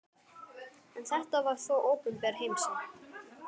En þetta var þó opinber heimsókn.